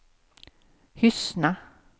Hyssna